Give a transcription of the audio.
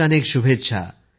अनेकानेक शुभेच्छा